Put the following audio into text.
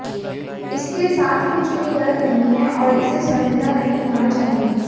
इसके साथ कुछ भी गलत नहीं है और इसे शर्मिंदा नहीं होना चाहिए